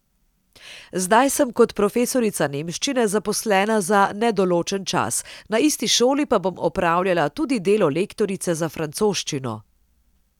Zdaj sem kot profesorica nemščine zaposlena za nedoločen čas, na isti šoli pa bom opravljala tudi delo lektorice za francoščino.